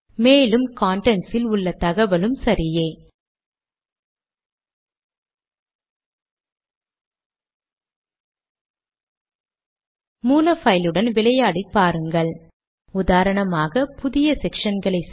end letter கட்டளையால் கடிதத்தை முடிக்கிறேன்